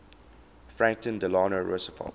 franklin delano roosevelt